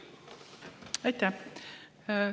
Aitäh!